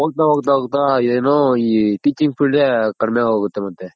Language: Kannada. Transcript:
ಹೋಗ್ತಾ ಹೋಗ್ತಾ ಏನು ಈ Teaching field ಕಡಮೆ ಆಗೋಗುತ್ತೆ ಮತ್ತೆ.